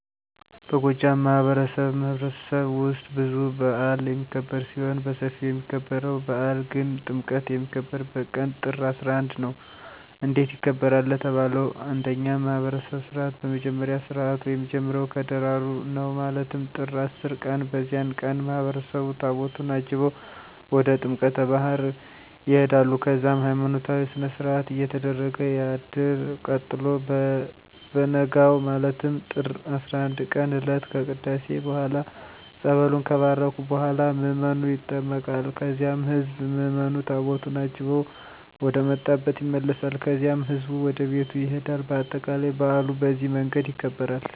በጎጃም ማህበረሰብማህበረሰብ ውስጥ ብዙ በአል የሚክብር ሲሆን በስፊው የሚከበርው በአል ግን ጥምቀት የሚከበርበት ቀን ጥር 11 ነው። እንዴት ይከበራል ለተባለው እንደኛ ማህብረሰብ ስርዓት በመጀመሪያ ስርአቱ የሚጀምረው ከደራሩ ነው ማለትም ጥር 10 ቀን በዚያን ቀን ማህበረሰቡ ታቦታቱን አጅበው ወደ ጥምቀተ ባህር ይሆዳሉ ከዚያም ሀይማኖታዊ ስነስርአት እየተደረገ ያድርል ቀጥሎ በቨነጋው ማለትም ጥር 11ቀን እለት ከቅዳሴ በኋላ ፀበሉን ከባረኩ በኋላ ምዕመኑ ይጠመቃል ከዚያም ህዝብ ምዕምኑ ታቦቱን አጅበው ወደመጣብ ይመለሳል ከዚያም ህዝቡ ወደቤቱ ይሄዳል በአጠቃላይ በአሉ በዚህ መንገድ ይከበራል።